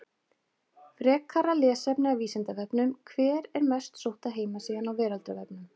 Frekara lesefni af Vísindavefnum: Hver er mest sótta heimasíðan á veraldarvefnum?